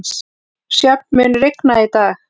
Sjöfn, mun rigna í dag?